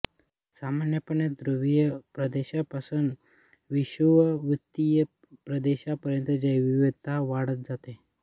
सामान्यपणे ध्रुवीय प्रदेशापासून विषुववृत्तीय प्रदेशापर्यंत जैवविविधता वाढत जाते